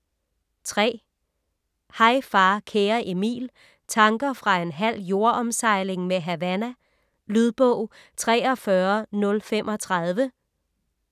Hej far kære Emil: tanker fra en halv jordomsejling med Havana Lydbog 43035